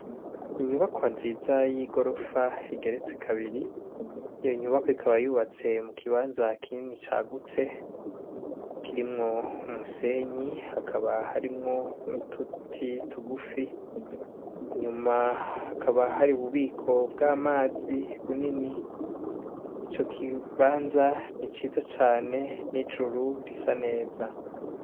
Inyubakwa nziza y' igorofa igeretse kabiri, iyo nyubakwa ikaba yubatse mu kibanza kinini cagutse , kirimwo umusenyi hakaba harimwo n' uduti tugufi , inyuma hakaba hari ububiko bw' amazi bunini. Ico kibanza ni ciza cane n' ijuru risa neza.